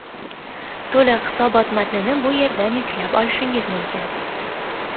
To‘liq hisobot matnini bu yerdan yuklab olishingiz mumkin .